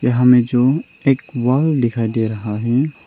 यहां में जो एक वॉल दिखाई दे रहा है।